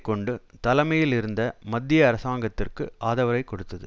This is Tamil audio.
கொண்டு தலைமையில் இருந்த மத்திய அரசாங்கத்திற்கு ஆதரவைக் கொடுத்தது